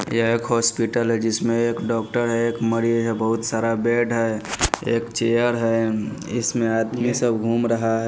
यह एक हॉस्पिटल है जिसमें एक डॉक्टर है एक मरी है बहुत सारा बेड है एक चेयर है इसमें आदमी सब घूम रहा है।